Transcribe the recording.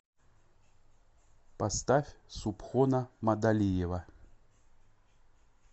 поставь субхона мадалиева